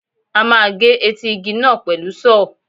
A máa gé etí igi náà pẹ̀lú Sọ́ọ̀.